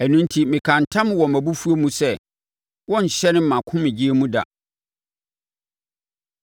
Ɛno enti mekaa ntam wɔ mʼabufuo mu sɛ, “Wɔrenhyɛne mʼahomegyeɛ mu da.”